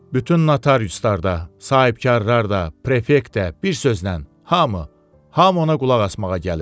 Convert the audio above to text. Bütün notariuslar da, sahibkarlar da, prefekt də, bir sözlə, hamı, hamı ona qulaq asmağa gəlir.